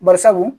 Bari sabu